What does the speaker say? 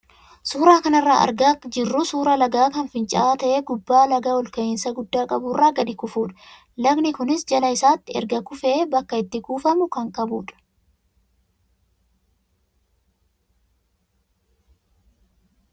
Suuraa kanarraa kan argaa jirru suuraa lagaa kan fincaa'aa ta'ee gubbaa laga ol ka'iinsa guddaa qabu irraa gadi kufudha. Lagni kunis jala isaatti erga kufee bakka itti kuufamu kan qabudha.